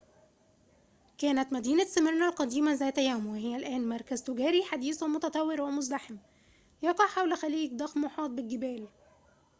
كانت مدينة سميرنا القديمة ذات يوم وهي الآن مركز تجاري حديث ومتطور ومزدحم يقع حول خليج ضخم محاط بالجبال